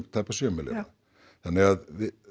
tæpa sjö milljarða þannig að